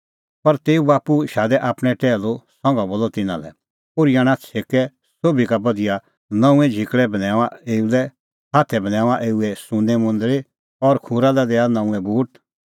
पर तेऊए बाप्पू शादै आपणैं टैहलू संघा बोलअ तिन्नां लै ओर्ही आणा छ़ेकै सोभी का बधिया नऊंऐं झिकल़ै बन्हैऊंआं एऊ लै हाथै बन्हैऊंआं एऊए सुन्नें मुंदल़ी और खूरा लै दैआ नऊंऐं बूट